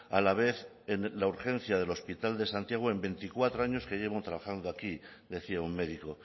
a la vez en la urgencia del hospital de santiago en veinticuatro años que llevo trabajando aquí decía un médico